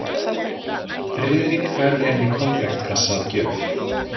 Friðrik færði henni konfektkassa að gjöf.